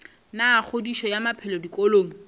la kgodišo ya maphelo dikolong